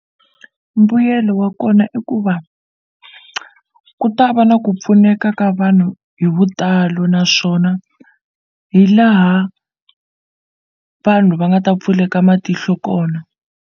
Mbuyelo wa kona i ku va ku ta va na ku pfuneka ka vanhu hi vutalo naswona hi laha vanhu va nga ta pfuleka matihlo kona.